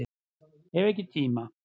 Hef ekki tíma